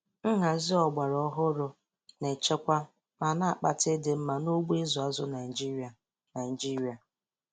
Nhazi ọgbara ọhụrụ na-echekwa ma na-akpata ịdị mma n'ugbo ịzụ azụ Naịjiria Naịjiria.